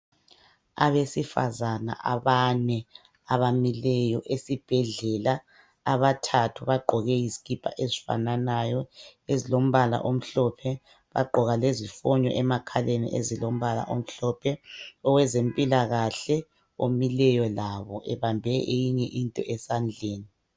Abesifazana abane abamileyo esibhedlela abathathu bagqoke izikipa ezifananayo ezilombala omhlophe bagqoka lezifonyo emakhaleni ezilombala omhlophe, owezempilakahle omileyo labo ebambe eyinye into esandleni.